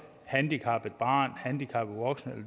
handicappet barn handicappet voksen